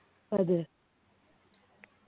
അതെ